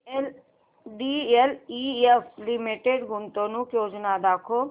DLF limited गुंतवणूक योजना दाखव